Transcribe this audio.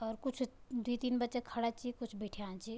और कुछ द्वि तीन बच्चा खड़ा छी कुछ बिठ्याँ छी।